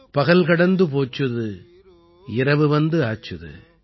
பகல் கடந்து போச்சுது இரவு வந்தாச்சுது